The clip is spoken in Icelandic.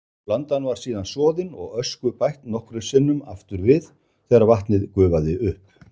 Blandan var síðan soðin og ösku bætt nokkrum sinnum aftur við þegar vatnið gufaði upp.